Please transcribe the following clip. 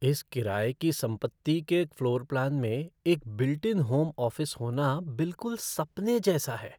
इस किराये की संपत्ति के फ़्लोर प्लान में एक बिल्ट इन होम ऑफ़िस होना बिलकुल सपने जैसा है।